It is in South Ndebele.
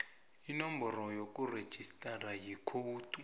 inomboro yokurejistara ikhowudi